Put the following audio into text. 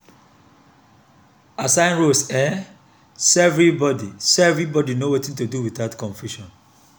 assign roles um so everybody so everybody know wetin to do without confusion